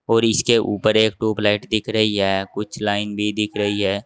और इसके ऊपर एक ट्यूबलाइट दिख रही हैं कुछ लाइन भी दिख रही है।